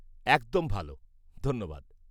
একদম ভাল, ধন্যবাদ।